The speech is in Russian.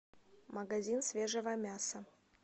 магазин свежего мяса